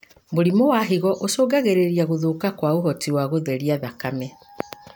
Mũrimũ wa higo ũcungagĩrĩria gũthũka kwa ũhoti wa gũtheria thakame.